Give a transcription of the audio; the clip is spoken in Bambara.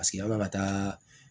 Paseke an bɛ ka taa